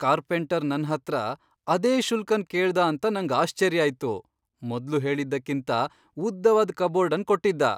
Carpenter ನನ್ ಹತ್ರ ಅದೇ ಶುಲ್ಕನ್ ಕೇಳ್ದ ಅಂತ ನಂಗ್ ಆಶ್ಚರ್ಯ ಆಯ್ತು. ಮೊದ್ಲು ಹೇಳಿದ್ದಕ್ಕಿಂತ ಉದ್ದವಾದ್ ಕಬೋರ್ಡ್ ಅನ್ ಕೊಟ್ಟಿದ್ದ.